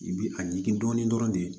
I bi a ɲigin dɔɔnin dɔrɔn de